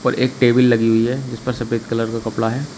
और एक टेबिल लगी हुई है जिस पर सफेद कलर का कपड़ा है।